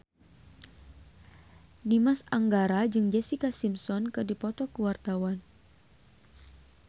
Dimas Anggara jeung Jessica Simpson keur dipoto ku wartawan